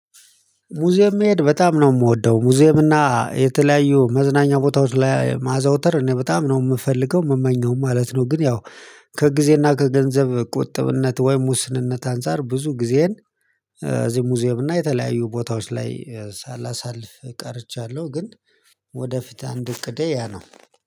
ሙዚየም መሄድ በጣም ነው የምወደው ሙዚየም እና የተለያዩ መዝናኛ ቦታዎች ላይ ማዘውተር እኔ በጣም ነው የምፈልገው የምመኘው ማለት ነው ግን ያው ከጊዜና ከገንዘብ ቁጥብነት ወይም ውስንነት አንፃር ብዙ ጊዜን እዚህ ሙዚየም እና የተለያዩ ቦታዎች ላይ ሳላሳልፍ ቀርቻለሁ ግን ወደፊት አንድ እቅዴ ያ ነው።